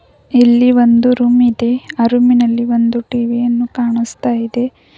ಇಲ್ಲಿ ಒಂದು ರೂಮ್ ಇದೆ ಆ ರೂಮಿನಲ್ಲಿ ಒಂದು ಟಿ_ವಿ ಯನ್ನು ಕಾಣಸ್ತಾ ಇದೆ.